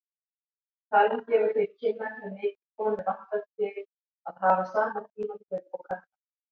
Talan gefur til kynna hve mikið konur vantar til að hafa sama tímakaup og karlar.